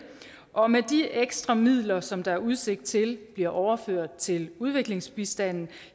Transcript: og med de ekstra midler som der er udsigt til bliver overført til udviklingsbistanden